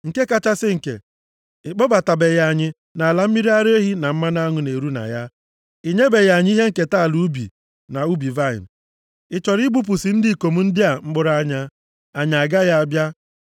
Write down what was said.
Nke kachasị nke, ị kpọbatabeghị anyị nʼala mmiri ara ehi na mmanụ aṅụ na-eru na ya. I nyebeghị anyị ihe nketa ala ubi na ubi vaịnị. Ị chọrọ ịghụpụsị ndị ikom ndị a mkpụrụ anya? + 16:14 Ị ga-eme ha ka ndị ohu. Anyị agaghị abịa!”